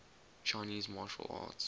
chinese martial arts